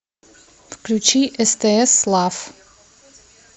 включи стс лав